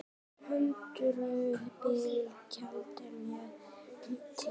Hundruð bíla, taldist mér til!